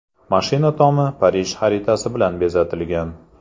Mashina tomi Parij xaritasi bilan bezatilgan.